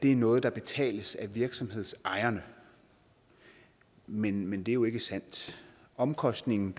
er noget der betales af virksomhedsejerne men men det er jo ikke sandt omkostningen